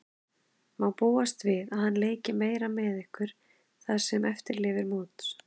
Má búast við að hann leiki meira með ykkur það sem eftir lifir móts?